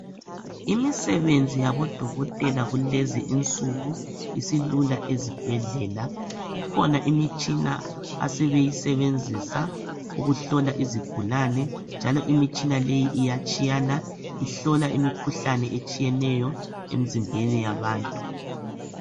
Imisebenzi yabodokotela kulezi insuku isilula ezibhedlela, kukhona imitshina asebeyisebenzisa ukuhlola izigulane njalo imitshina leyi iyatshiyana ihlola imikhuhlane etshiyeneyo emzimbeni yabantu.